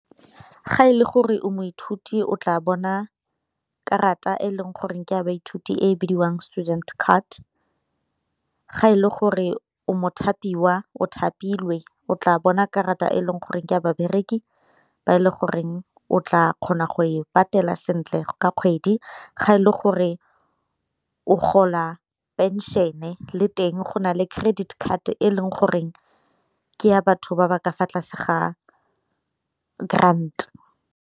Ga e le gore o moithuti o tla bona karata e leng goreng ke a baithuti e bidiwang student card, ga e le gore o mo thapiwa o thapilwe o tla bona karata e leng goreng ke a babereki ba e le goreng o tla kgona go e patela sentle ka kgwedi, ga e le gore o gola pension-e le teng go na le credit card e leng goreng ke ya batho ba ba ka fa tlase ga grant.